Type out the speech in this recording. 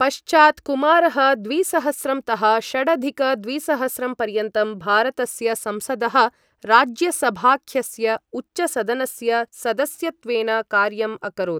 पश्चात् कुमारः द्विसहस्रं तः षडधिक द्विसहस्रं पर्यन्तं भारतस्य संसदः राज्यसभाख्यस्य उच्चसदनस्य सदस्यत्वेन कार्यम् अकरोत्।